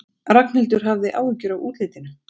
Ragnhildur hafði áhyggjur af útlitinu.